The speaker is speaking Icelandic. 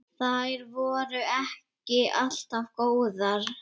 Þær voru ekki alltaf góðar.